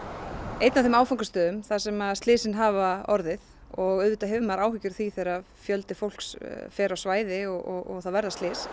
einn af þeim áfangastöðum þar sem slysin hafa orðið og auðvitað hefur maður áhyggjur af því þegar fjöldi fólks fer á svæði og það verða slys